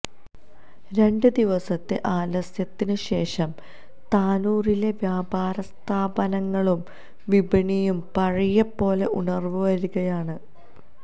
രണ്ട് ദിവസത്തെ ആലസ്യത്തിന് ശേഷം താനൂരിലെ വ്യാപാരസ്ഥാപനങ്ങളും വിപണിയും പഴയപോലെ ഉണർന്നുവരികയാണ്